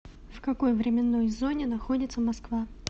в какой временной зоне находится москва